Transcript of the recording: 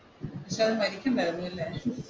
പക്ഷെ അവൻ മരിക്കണ്ടായിരുന്നല്ലേ,